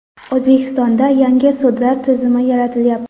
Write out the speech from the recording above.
O‘zbekistonda yangi sudlar tizimi yaratilyapti.